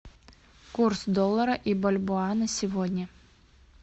курс доллара и бальбоа на сегодня